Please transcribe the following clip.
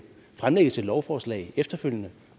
fremlægges et lovforslag efterfølgende